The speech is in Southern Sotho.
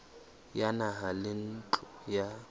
ya naha le ntlo ya